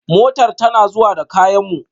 Motar tana zuwa da kayan mu